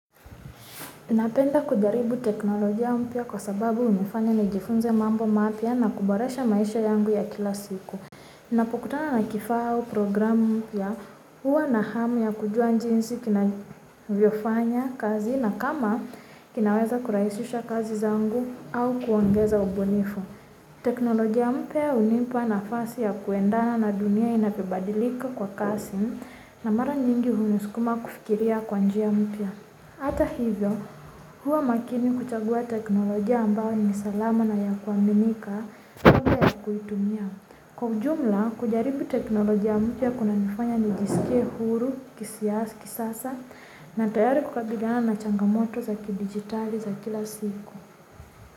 Napenda kudaribu teknolojia mpya kwa sababu hunifanya nijifunze mambo mapya na kuboresha maisha yangu ya kila siku. Ninapokutana na kifaa au programu mpya huwa na hamu ya kujua jinsi kinavyofanya kazi na kama kinaweza kurahisisha kazi zangu au kuongeza ubunifu. Teknolojia mpya hunipa nafasi ya kuendana na dunia inavyobadilika kwa kasi na mara nyingi hunisukuma kufikiria kwa njia mpya. Hata hivyo, huwa makini kuchagua teknolojia ambayo ni salama na ya kuaminika kabla kuitumia. Kwa ujumla, kujaribu teknolojia mtu ya kunanifanya nijisikie huru, kisasa, na tayari kukabiliana na changamoto za kidigitali za kila siku.